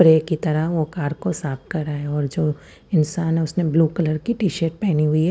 की तरह वो कार को साफ कर रहा है और जो इंसान है उसने ब्लू कलर की टी शर्ट पहनी हुए है।